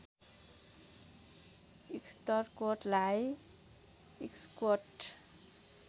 इस्टकोटलाई इस्कोट